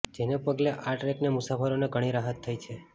જેને પગલે આ ટ્રેકના મુસાફરોને ઘણી રાહત થઇ છે